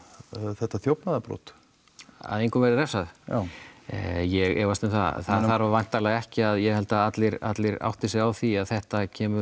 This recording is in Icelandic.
þetta þjófnaðarbrot að engum verði refsað já ég efast um það það þarf væntanlega ekki að ég held að allir allir átti sig á því að þetta kemur